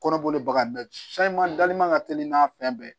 Kɔnɔboli baga bɛɛ man ka teli n'a fɛn bɛɛ ye